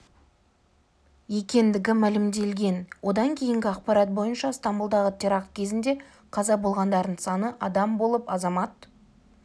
екендігі мәлімделген одан кейінгі ақпарат бойынша стамбұлдағы теракт кезінде қаза болғандардың саны адам болып азамат